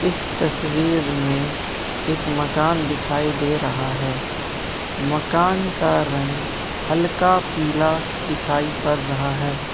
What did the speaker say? इस तस्वीर में एक मकान दिखाई दे रहा है मकान का रंग हल्का पीला दिखाई पड़ रहा है।